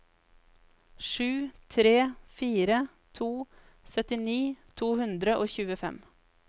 sju tre fire to syttini to hundre og tjuefem